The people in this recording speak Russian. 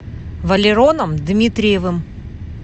валероном дмитриевым